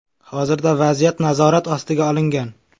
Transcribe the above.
Hozirda vaziyat nazorat ostiga olingan.